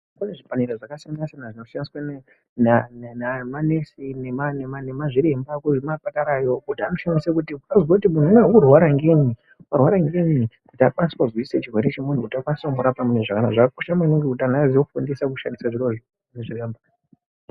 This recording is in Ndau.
Zvipanera zvakasiya siyana zvinoshandiswa ngemanesi nemazviremba muchipatara anoshandisa kuti azive kuti mundu uri kurwara ngei warwara ngei zvakakosha maningi kuti vakanise kuzivachirwere chavo.